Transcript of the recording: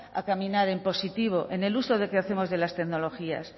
a caminar en positivo en el uso que hacemos de las tecnologías